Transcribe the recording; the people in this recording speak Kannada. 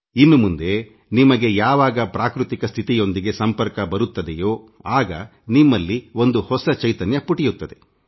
ಇನ್ನು ಮುಂದೆ ನಿಮಗೆ ಯಾವಾಗ ಪ್ರಾಕೃತಿಕ ಸ್ಥಿತಿಯೊಂದಿಗೆ ಸಂಪರ್ಕ ಬರುತ್ತದೆಯೋ ಆಗ ನಿಮ್ಮಲ್ಲಿ ಒಂದು ಹೊಸ ಚೈತನ್ಯ ಪುಟಿಯುತ್ತದೆ